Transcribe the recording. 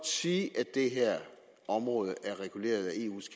sige at det her område er reguleret af eus